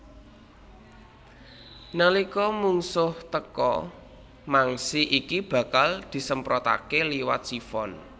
Nalika mungsuh teka mangsi iki bakal disemprotaké liwat sifon